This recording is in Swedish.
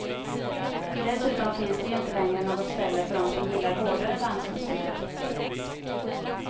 Dessutom finns det ju inte längre något ställe för de som gillar hårdare dansmusik.